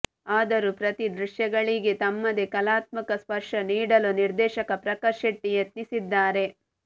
ಆದರೂ ಪ್ರತಿ ದೃಶ್ಯಗಳಿಗೆ ತಮ್ಮದೇ ಕಲಾತ್ಮಕ ಸ್ಪರ್ಶ ನೀಡಲು ನಿರ್ದೇಶಕ ಪ್ರಕಾಶ್ ಶೆಟ್ಟಿ ಯತ್ನಿಸಿದ್ದಾರೆ